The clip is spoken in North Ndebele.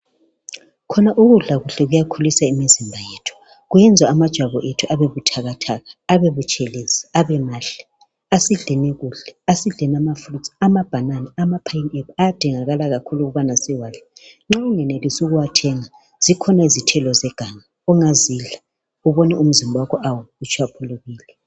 Khona ukudla kuhle kuyakhulisa imizimba yethu, kuyenza amajwabu ethu abe buthakathaka, abebutshelezi abe mahle. Asidleni kuhle, asidleni ama fruits, amabanana ama pine apple ayadingakala kakhulu ukubana siwadle. Nxa ungenelisi ukuwathenga, zikhona izithelo zeganga ongazidla ubone umzimba wakho lawo utshwaphulukile.